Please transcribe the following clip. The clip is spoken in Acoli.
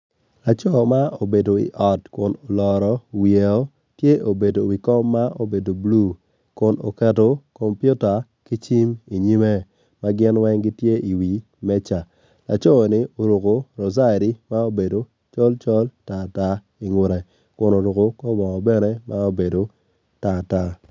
Laco ma obedo i ot kun oloro wiye woko tye obedo i wi kom ma obedo bulu kun oketo komuita ki cim i nyime ma gin weng gitye i wi meja laco ni oruko rojari ma obedo colcol kun oruko kor bongo bene ma obedo tartar.